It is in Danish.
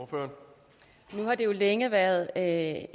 for at